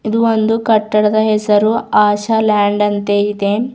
ಇದು ಒಂದು ಕಟ್ಟಡದ ಹೆಸರು ಆಶಾ ಲ್ಯಾಂಡ್ ಅಂತೆ ಇದೆ.